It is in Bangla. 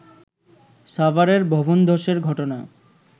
সাভারের ভবনধসের ঘটনা